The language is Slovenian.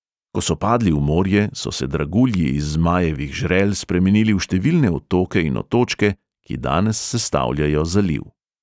Ko so padli v morje, so se dragulji iz zmajevih žrel spremenili v številne otoke in otočke, ki danes sestavljajo zaliv.